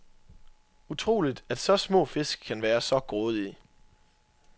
Utroligt at så små fisk kan være så grådige.